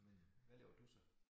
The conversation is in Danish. Men hvad laver du så?